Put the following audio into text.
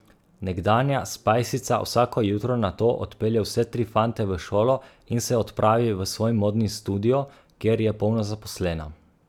Nekdanja spajsica vsako jutro nato odpelje vse tri fante v šolo in se odpravi v svoj modni studio, kjer je polno zaposlena.